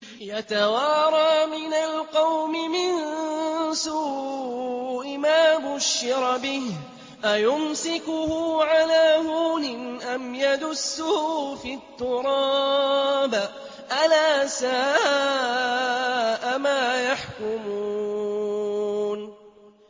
يَتَوَارَىٰ مِنَ الْقَوْمِ مِن سُوءِ مَا بُشِّرَ بِهِ ۚ أَيُمْسِكُهُ عَلَىٰ هُونٍ أَمْ يَدُسُّهُ فِي التُّرَابِ ۗ أَلَا سَاءَ مَا يَحْكُمُونَ